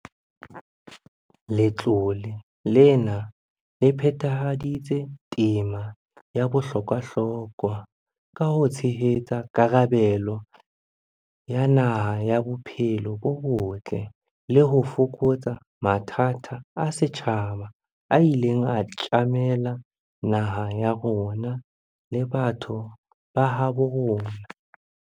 Letlole lena le phethahaditse tema ya bohlokwahlokwa ka ho tshehetsa karabelo ya naha ya bophelo bo botle le ho fokotsa mathata a setjhaba a ileng a tjamela naha ya rona le batho ba habo rona.